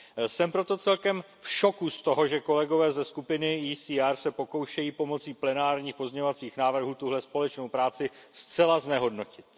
Jsem proto celkem v šoku z toho, že kolegové ze skupiny ECR se pokoušejí pomocí plenárních pozměňovacích návrhů tuhle společnou práci zcela znehodnotit.